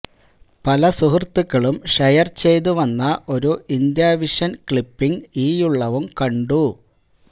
പല സുഹൃത്തുക്കളും ഷെയര് ചെയ്തു വന്ന ഒരു ഇന്ത്യാവിഷന് ക്ളിപ്പിംഗ് ഈയുള്ളവും കണ്ടു